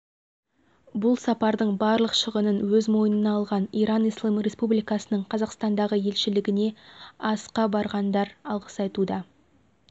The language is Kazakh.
бұл сапардың барлық шығынын өз мойнына алған иран-ислам республикасының қазақстандағы елшілігіне асқа барғандар алғыс айтуда